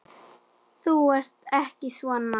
Þú ert ekki svona.